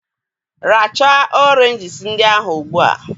Rachaa Oranges ndị ahụ Ugbu a!